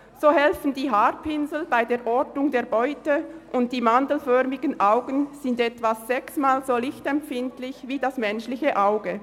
So helfen die Haarpinsel bei der Ortung der Beute, und die mandelförmigen Augen sind etwa sechsmal so lichtempfindlich wie das menschliche Auge.